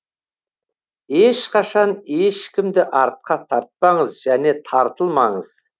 ешқашан ешкімді артқа тартпаңыз және тартылмаңыз